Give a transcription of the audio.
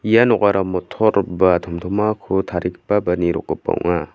ia nokara motol ba tomtomako tarigipa ba nirokgipa ong·a.